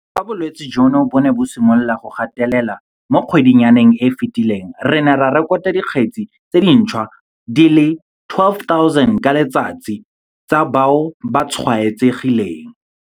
Fa bolwetse jono bo ne bo simolola go gatelela mo kgwedinyaneng e e fetileng, re ne re rekota dikgetse tse dintšhwa di le 12 000 ka letsatsi tsa bao ba tshwaetsegileng.